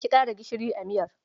Ƙi ƙara gishiri a miyar.